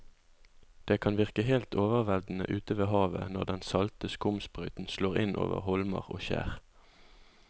Det kan virke helt overveldende ute ved havet når den salte skumsprøyten slår innover holmer og skjær.